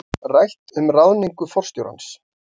Rætt um ráðningu forstjórans